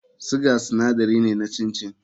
Sugar sinadari ne na chin chin.